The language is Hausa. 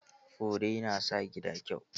Fure na sa gida kyau.